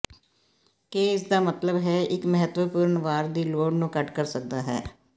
ਕੇ ਇਸ ਦਾ ਮਤਲਬ ਹੈ ਇੱਕ ਮਹੱਤਵਪੂਰਨ ਵਾਰ ਦੀ ਲੋੜ ਨੂੰ ਘੱਟ ਕਰ ਸਕਦਾ ਹੈ